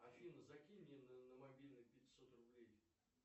афина закинь мне на мобильный пятьсот рублей